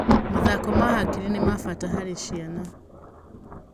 Mathako ma hakiri nimabata harĩ ciana